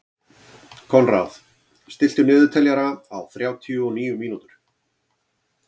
Konráð, stilltu niðurteljara á þrjátíu og níu mínútur.